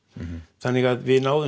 þannig að við náðum